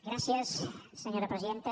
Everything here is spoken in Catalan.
gràcies senyora presidenta